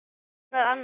Vonar annað.